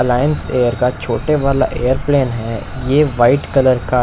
Allianz Air का छोटा वाला एयरप्लेन है यह वाइट कलर का--